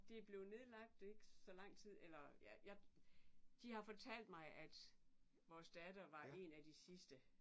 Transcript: Det blev nedlagt ikke så lang tid eller ja jeg de har fortalt mig at vores datter var en af de sidste